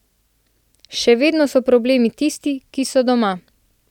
Še vedno so problem tisti, ki so doma.